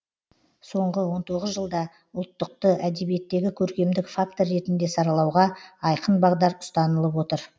соңғы он тоғыз жылда ұлттықты әдебиеттегі көркемдік фактор ретінде саралауға айқын бағдар ұстанылып отыр